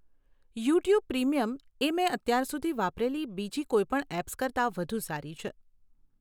YouTube Premium એ મેં અત્યાર સુધી વાપરેલી બીજી કોઇપણ એપ્સ કરતાં વધુ સારી છે.